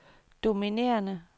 dominerende